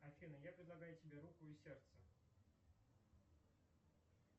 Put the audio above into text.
афина я предлагаю тебе руку и сердце